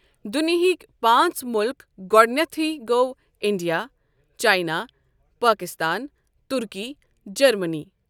دنیٖہٕکۍ پانٛژھ مُلک گۄڈنیتھٕے گوٚو India, China, Pakistan, Turkey, Germany.